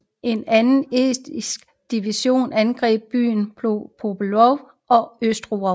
En anden estisk division angreb byerne Pytalovo og Ostrov